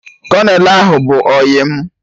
Kolonel ahụ bụ ọyị mụ